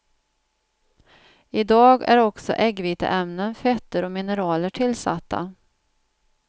I dag är också äggviteämnen, fetter och mineraler tillsatta.